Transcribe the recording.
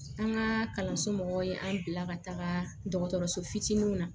An ka kalanso mɔgɔw ye an bila ka taga dɔgɔtɔrɔso fitininw na